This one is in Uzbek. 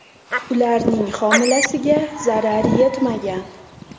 Ularning homilasiga zarar yetmagan.